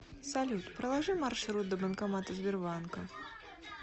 салют проложи маршрут до банкомата сбербанка